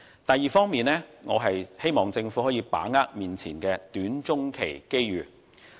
第二方面，我希望政府能把握現時的短、中期機遇。